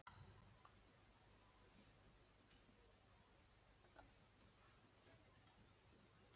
En turninn var forboðinn.